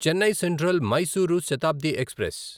Chennai central Mysuru Shatabdi express